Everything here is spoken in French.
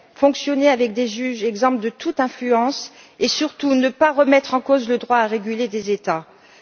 fonctionner avec des juges exempts de toute influence et surtout ne pas remettre en cause le droit des États à réguler.